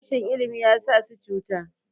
rashin ilimi ya sa su cuta